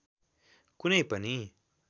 कुनै पनि